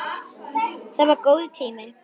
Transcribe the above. Það var það góður tími.